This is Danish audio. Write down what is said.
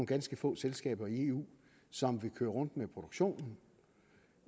ganske få selskaber i eu som vil køre rundt med produktionen